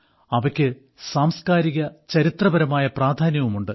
അവയ്ക്ക് സാംസ്കാരികവുംചരിത്രപരവുമായ പ്രാധാന്യവുമുണ്ട്